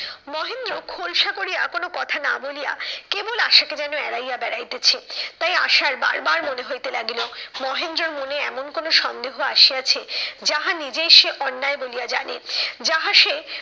মহেন্দ্র খোলসা করিয়া কোনো কথা না বলিয়া, কেবল আশাকে যেন এড়াইয়া বেড়াইতেছে। তাই আশার বার বার মনে হইতে লাগিল, মহেন্দ্রর মনে এমন কোনো সন্দেহ আসিয়াছে যাহা নিজেই সে অন্যায় বলিয়া জানেন। যাহা সে